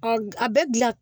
a bɛ gilan